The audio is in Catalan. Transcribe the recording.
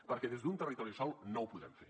perquè des d’un territori sol no ho podrem fer